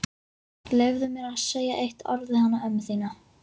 Leyfðu mér að segja eitt orð við hana ömmu þína.